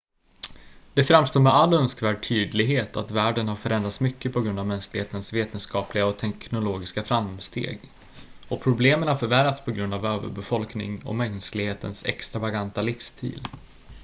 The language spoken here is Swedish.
det framstår med all önskvärd tydlighet att världen har förändrats mycket på grund av mänsklighetens vetenskapliga och teknologiska framsteg och problemen har förvärrats på grund av överbefolkning och mänsklighetens extravaganta livsstil